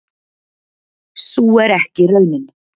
sú er ekki raunin